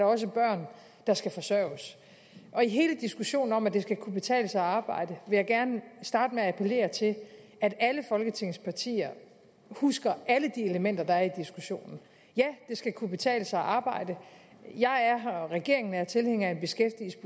også børn der skal forsørges i hele diskussionen om at det skal kunne betale sig at arbejde jeg gerne starte med at appellere til at alle folketingets partier husker alle de elementer der er diskussionen ja det skal kunne betale sig at arbejde jeg og regeringen er tilhængere af